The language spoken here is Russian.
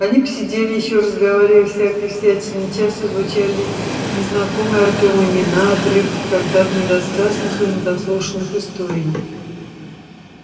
они посидели ещё разговаривая о всякой всячине часто звучали незнакомые артему имена отрывки когда-то недосказанных или недослушанных историй